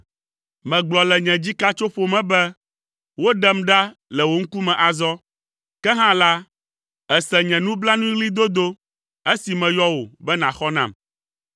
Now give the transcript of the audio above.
Megblɔ le nye dzikatsoƒo me be: “Woɖem ɖa le wò ŋkume azɔ!” Ke hã la, èse nye nublanuiɣlidodo esi meyɔ wò be nàxɔ nam.